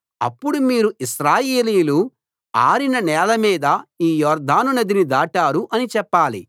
అప్పుడు మీరు ఇశ్రాయేలీయులు ఆరిన నేలమీద ఈ యొర్దాను నదిని దాటారు అని చెప్పాలి